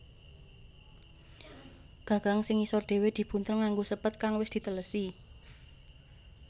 Gagang sing ngisor dhewe dibuntel nganggo sépet kang wis dhitelesi